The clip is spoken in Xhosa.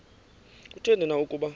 kutheni na ukuba